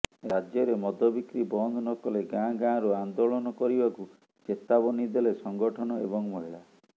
ରାଜ୍ୟରେ ମଦ ବିକ୍ରୀ ବନ୍ଦ ନକଲେ ଗାଁ ଗାଁରୁ ଆନ୍ଦୋଳନ କରିବାକୁ ଚେତାବନୀ ଦେଲେ ସଂଗଠନ ଏବଂ ମହିଳା